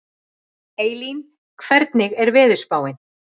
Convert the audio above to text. Eylín, hvernig er veðurspáin?